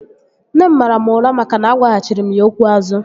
Nne m mara mụ ụra maka na agwaghachiri m ya okwu azu